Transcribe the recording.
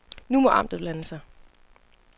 Nu må amtet blande sig.